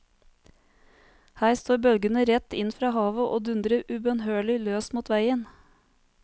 Her står bølgene rett inn fra havet og dundrer ubønnhørlig løs mot veien.